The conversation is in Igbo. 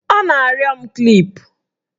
Ọ na-arịọ m klip